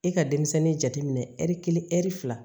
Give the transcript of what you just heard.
I ka denmisɛnnin jateminɛ ɛri kelen ɛri fila